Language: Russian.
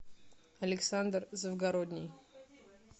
александр завгородний